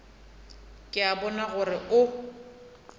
ke a bona gore o